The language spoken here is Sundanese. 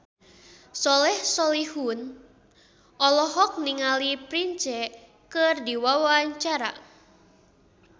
Soleh Solihun olohok ningali Prince keur diwawancara